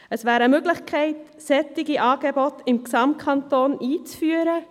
Eine Möglichkeit wäre, solche Angebote im Gesamtkanton einzuführen;